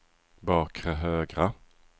bakre högra